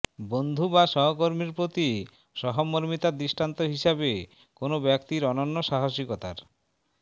বন্ধু বা সহকর্মীর প্রতি সহমর্মিতার দৃষ্টান্ত হিসেবে কোনো ব্যক্তির অনন্য সাহসিকতার